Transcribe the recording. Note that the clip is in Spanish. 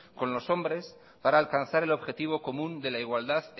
con los hombres para alcanzar el objetivo común de la igualdad